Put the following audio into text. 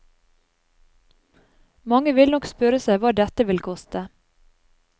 Mange vil nok spørre seg hva dette vil koste.